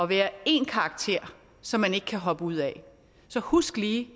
være én karakter som man ikke kan hoppe ud af så husk lige